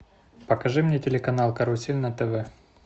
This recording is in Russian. покажи мне телеканал карусель на тв